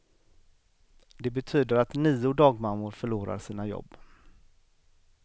Det betyder att nio dagmammor förlorar sina jobb.